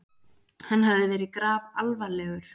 Hann hafði verið grafalvarlegur.